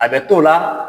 A bɛ t'o la